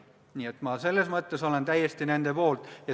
Nii et selles mõttes olen ma täiesti nende poolt.